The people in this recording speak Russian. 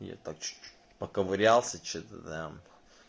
я так чуть-чуть поковырялся что-то там